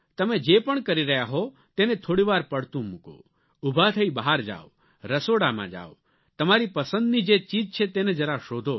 તમે જે પણ કરી રહ્યા હો તેને થોડી વાર પડતું મૂકો ઊભા થઇ બહાર જાવ રસોડામાં જાવ તમારી પસંદની જે ચીજ છે તેને જરા શોધો